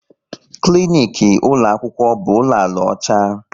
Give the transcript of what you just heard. Klinik ụlọ akwụkwọ bụ ụlọ ala ọcha